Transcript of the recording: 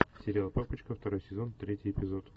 сериал папочка второй сезон третий эпизод